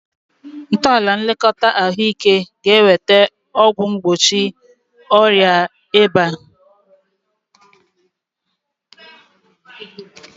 Ntọala nlekọta ahụike ga-eweta ọgwụ mgbochi ọrịa ịba